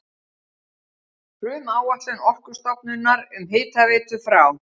Frumáætlun Orkustofnunar um hitaveitu frá